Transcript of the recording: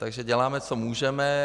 Takže děláme, co můžeme.